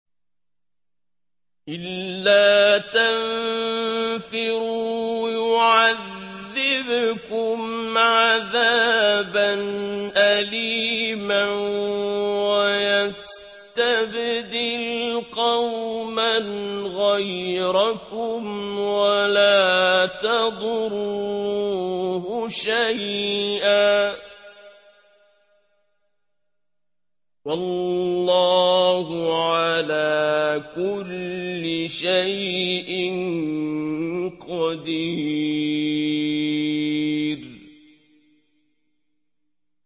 إِلَّا تَنفِرُوا يُعَذِّبْكُمْ عَذَابًا أَلِيمًا وَيَسْتَبْدِلْ قَوْمًا غَيْرَكُمْ وَلَا تَضُرُّوهُ شَيْئًا ۗ وَاللَّهُ عَلَىٰ كُلِّ شَيْءٍ قَدِيرٌ